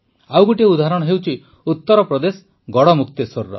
ଆଉ ଗୋଟିଏ ଉଦାହରଣ ହେଉଛି ଉତରପ୍ରଦେଶ ଗଡ଼ମୁକ୍ତେଶ୍ୱରର